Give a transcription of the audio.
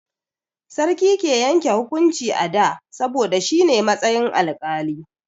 Sarki ke yanke hukunci a da, saboda shi ne a matsayin alƙali.